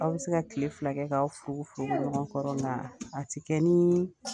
Aw bi se ka kile fila kɛ k'aw furugu furugu ɲɔgɔn kɔrɔ . Nga ti kɛ ni